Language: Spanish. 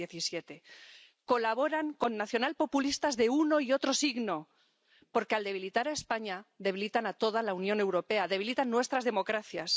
2017. Colaboran con nacionalpopulistas de uno y otro signo, porque, al debilitar a España, debilitan a toda la Unión Europea, debilitan nuestras democracias.